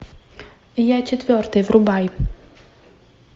я четвертый врубай